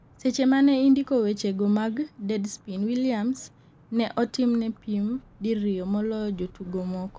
seche mane indiko weche go mag Deadspin, Williams ne otimne pim diriyo moloyo jotugo moko